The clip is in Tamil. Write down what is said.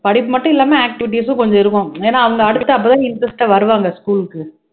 படிப்பு மட்டும் இல்லாம activities ம் கொஞ்சம் இருக்கும் ஏன்னா அவங்க அடுத்த அப்பதான் interest ஆ வருவாங்க school க்கு